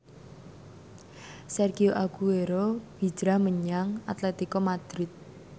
Sergio Aguero hijrah menyang Atletico Madrid